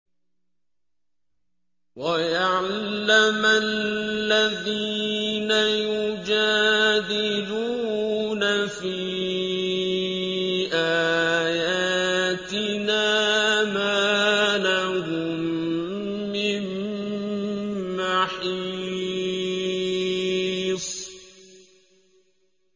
وَيَعْلَمَ الَّذِينَ يُجَادِلُونَ فِي آيَاتِنَا مَا لَهُم مِّن مَّحِيصٍ